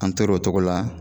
An tor'o togo la